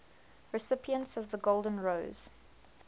recipients of the golden rose